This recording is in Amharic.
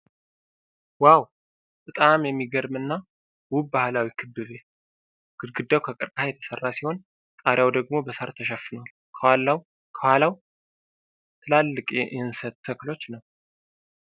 ዋው! በጣም የሚገርም እና ውብ ባህላዊ ክብ ቤት ነው። ግድግዳው ከቀርከሃ የተሰራ ሲሆን፣ ጣሪያው ደግሞ በሳር ተሸፍኗል። ከኋላው ትላልቅ የእንሰት ተክሎች ነው።